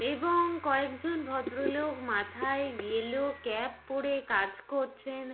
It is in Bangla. এবং কয়েকজন ভদ্রলোক মাথায় ইয়েলো ক্যাপ পরে কাজ করছেন।